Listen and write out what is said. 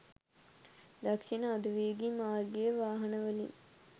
දක්ෂිණ අධිවේගී මාර්ගයේ වාහනවලින්